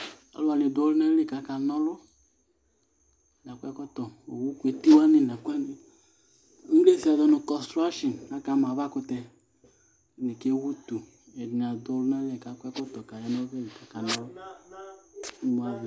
Alʋ wanɩ dʋ ɔlʋnali kaka na ɔlʋAkɔ ɛkɔtɔ, owu kʋ eti wanɩ nʋ ɛkʋ wanɩ kpekpeIŋlesi azɔ nʋ kɔstrasin ; aka ma avakʋtɛƐdɩnɩ kewu utu, ɛdɩnɩ adʋ ɔlʋnali kakɔ ɛkɔtɔ kaya nɔvɛ dʋ imuavɛ